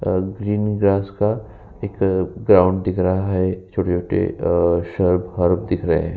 और green -grass एक ground दिख रहा है और छोटे-छोटे सर्प -हॉप दिख रहे हैं।